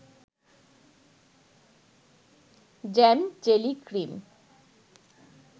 jam-jelly-cream